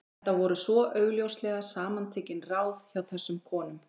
Þetta voru svo augljóslega samantekin ráð hjá þessum konum.